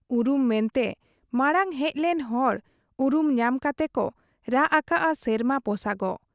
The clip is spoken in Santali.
ᱩᱨᱩᱢ ᱢᱮᱱᱛᱮ ᱢᱟᱬᱟᱝ ᱦᱮᱡ ᱞᱮᱱ ᱦᱚᱲ ᱩᱨᱩᱢ ᱧᱟᱢ ᱠᱟᱛᱮ ᱠᱚ ᱨᱟᱜ ᱟᱠᱟᱜ ᱟ ᱥᱮᱨᱢᱟ ᱯᱚᱥᱟᱜᱚᱜ ᱾